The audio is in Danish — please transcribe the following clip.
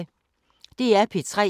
DR P3